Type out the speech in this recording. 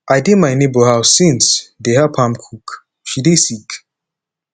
i dey my nebor house since dey help am cook she dey sick